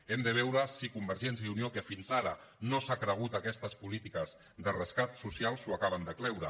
hem de veure si convergència i unió que fins ara no s’ha cregut aquestes polítiques de rescat so·cial s’ho acaben de creure